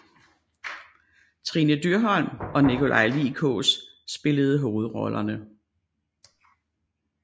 Trine Dyrholm og Nikolaj Lie Kaas spillede hovedrollerne